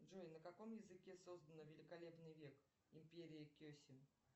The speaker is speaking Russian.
джой на каком языке создан великолепный век империя кесем